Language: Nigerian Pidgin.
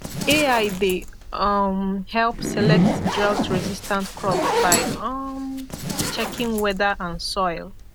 ai dey um help select droughtresistant crops by um checking weather and soil